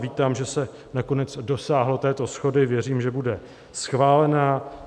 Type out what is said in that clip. Vítám, že se nakonec dosáhlo této shody, věřím, že bude schválená.